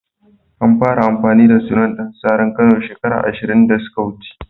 An fara amfani da sunan Dan saran Kano shekara ashin da suka wuce.